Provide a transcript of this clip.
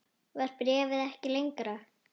Var bréfið ekki lengra?